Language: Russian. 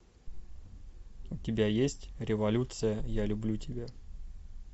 у тебя есть революция я люблю тебя